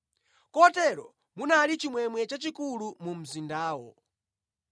Kotero munali chimwemwe chachikulu mu mzindawo.